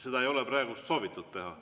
Seda ei ole praegu soovitud teha.